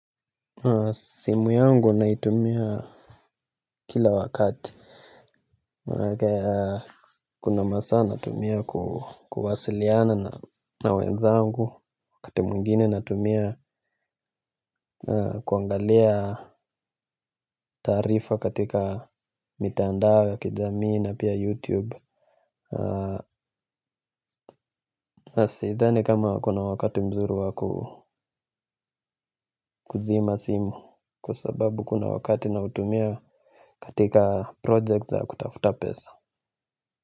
Simu yangu naitumia kila wakati. Kuna masaa natumia kuwasiliana na wenzangu wakati mwingine natumia kuangalia taarifa katika mitandao ya kijamii na pia youtube. Sidhani kama kuna wakati mzuri wa kuzima simu kwa sababu kuna wakati nautumia katika project za kutafuta pesa Muzika.